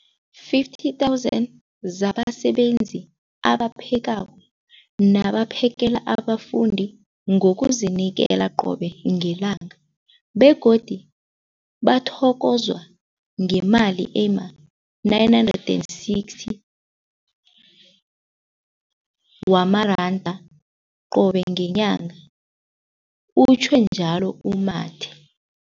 50 000 zabasebenzi abaphekako nabaphakela abafundi ngokuzinikela qobe ngelanga, begodu bathokozwa ngemali ema-960 wamaranda qobe ngenyanga, utjhwe njalo u-Mathe.